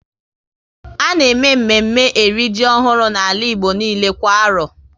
A na eme mme mme e ri ji ọhụrụ n'ala Igbo niile kwa arọ